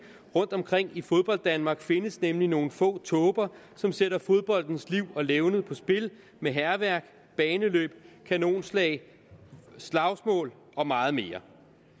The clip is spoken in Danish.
rundtomkring i fodbolddanmark findes nemlig nogle få tåber som sætter fodboldens liv og levned på spil med hærværk baneløb kanonslag slagsmål og meget mere